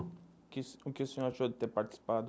O que o que o senhor achou de ter participado?